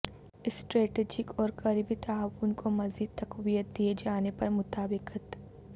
strategic اور قریبی تعاون کو مزید تقویت دیے جانے پر مطابقت